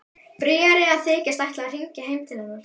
Bríarí að þykjast ætla að hringja heim til hennar.